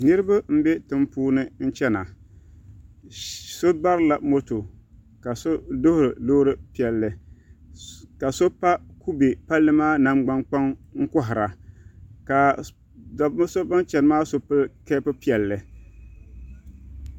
Niraba n bɛ tiŋ puuni chɛna so barila mota ka so duɣuri Loori piɛlli ka so pa kubɛ palli maa nangbani kpaŋ n kohara ka bi bin chɛni maa so pili keep piɛlli